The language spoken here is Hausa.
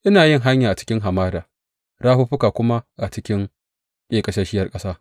Ina yin hanya a cikin hamada rafuffuka kuma a cikin ƙeƙasasshiyar ƙasa.